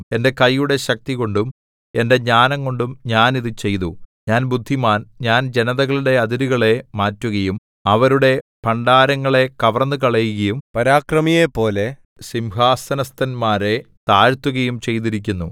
എന്റെ കൈയുടെ ശക്തികൊണ്ടും എന്റെ ജ്ഞാനംകൊണ്ടും ഞാൻ ഇതു ചെയ്തു ഞാൻ ബുദ്ധിമാൻ ഞാൻ ജനതകളുടെ അതിരുകളെ മാറ്റുകയും അവരുടെ ഭണ്ഡാരങ്ങളെ കവർന്നുകളയുകയും പരാക്രമിയെപ്പോലെ സിംഹാസനസ്ഥന്മാരെ താഴ്ത്തുകയും ചെയ്തിരിക്കുന്നു